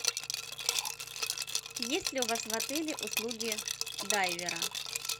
есть ли у вас в отеле услуги дайвера